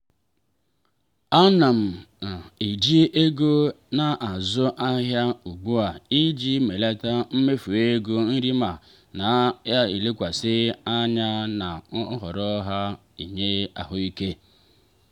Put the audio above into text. ana m eji ego na-azụ ahịa ugbu a iji melata mmefu ego nri ma na-elekwasị anya na nhọrọ na-enye ahụike.